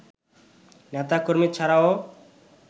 নেতা-কর্মী ছাড়াও